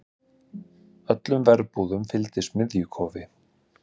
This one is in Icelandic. Öllum verbúðum fylgdi smiðjukofi.